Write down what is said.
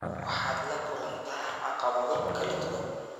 waxaad la kulantaa caqabado kala duwan.